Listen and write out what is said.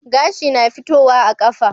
Gashi na fitowa a kafa